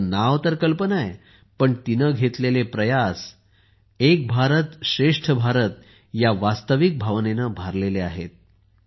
तिचे नाव कल्पना आहे पण तिने घेतलेले प्रयास हे एक भारत श्रेष्ठ भारत या वास्तविक भावनेने भारलेले आहेत